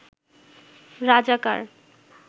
রাজাকার